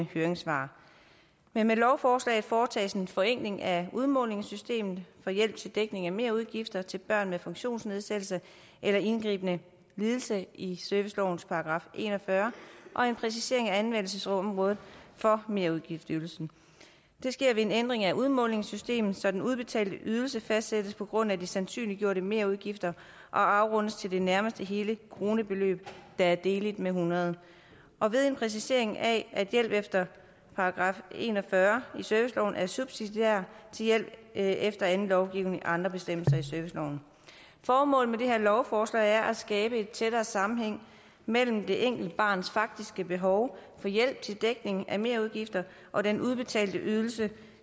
høringssvar men med lovforslaget foretages en forenkling af udmålingssystemet for hjælp til dækning af merudgifter til børn med funktionsnedsættelse eller indgribende lidelse i servicelovens § en og fyrre og en præcisering af anvendelsesområdet for merudgiftsydelsen det sker ved en ændring af udmålingssystemet så den udbetalte ydelse fastsættes på grundlag af de sandsynliggjorte merudgifter og afrundes til det nærmeste hele kronebeløb der er deleligt med hundrede og ved en præcisering af at hjælp efter § en og fyrre i serviceloven er subsidiær til hjælp efter anden lovgivning og andre bestemmelser i serviceloven formålet med det her lovforslag er at skabe en tættere sammenhæng mellem det enkelte barns faktiske behov for hjælp til dækning af merudgifter og den udbetalte ydelse